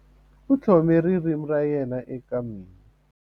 U tlhome ririmi ra yena eka mina.